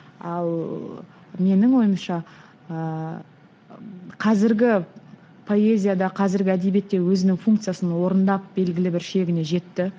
ал менің ойымша ыыы қазіргі поэзияда қазіргі әдебиетте өзінің функциясын орындап белгілі бір шегіне жетті